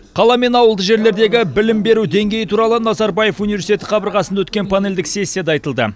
қала мен ауылды жерлердегі білім беру деңгейі туралы назарбаев университеті қабырғасында өткен панельдік сессияда айтылды